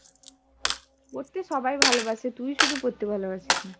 পড়তে সবাই ভালোবাসে তুই শুধু পড়তে ভালোবাসিস না।